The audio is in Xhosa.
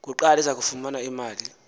kuqala izakufumana imali